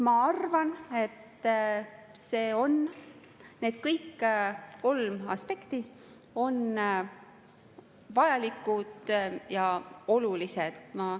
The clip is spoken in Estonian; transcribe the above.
Ma arvan, et kõik need kolm aspekti on vajalikud ja olulised.